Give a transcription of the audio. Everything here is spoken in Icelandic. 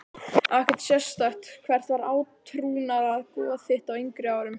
Ekkert sérstakt Hvert var átrúnaðargoð þitt á yngri árum?